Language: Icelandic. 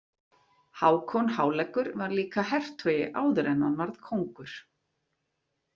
Hákon háleggur var líka hertogi áður en hann varð kóngur.